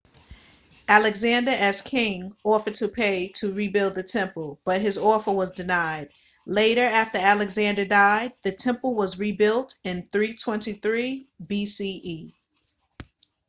alexander as king offered to pay to rebuild the temple but his offer was denied later after alexander died the temple was rebuilt in 323 bce